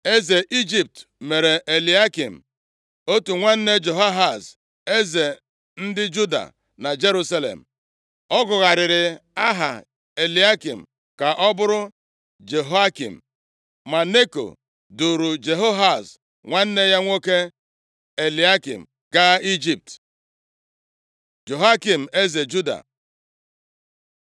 Eze Ijipt mere Eliakịm, otu nwanne Jehoahaz, eze ndị Juda na Jerusalem. Ọ gụgharịrị aha Eliakịm ka ọ bụrụ Jehoiakim. Ma Neko duuru Jehoahaz nwanne nwoke Eliakịm gaa Ijipt. Jehoiakim eze Juda